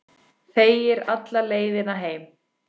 Þegir alla leiðina heim.